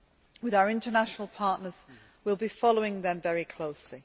With our international partners, we will be following them very closely.